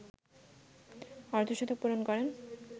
অর্ধশতক পূরণ করেন